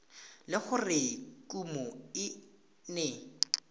le gore kumo e ne